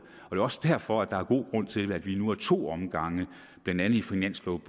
er også derfor at der er god grund til at vi nu af to omgange blandt andet i finansloven